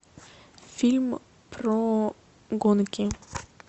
фильм про гонки